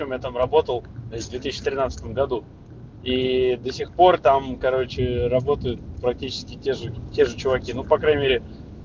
кем я там работал с две тысячи тринадцатом году и до сих пор там короче работают практически те же те же чуваки ну по крайней мере